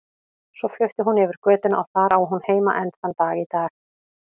Svo flutti hún yfir götuna og þar á hún heima enn þann dag í dag.